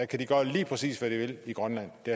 kan de gøre lige præcis hvad de vil i grønland det